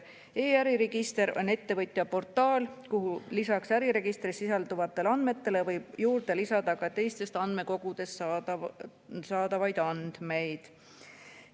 E‑äriregister on ettevõtjaportaal, kuhu lisaks äriregistris sisalduvatele andmetele võib juurde lisada ka teistest andmekogudest saadavaid andmeid.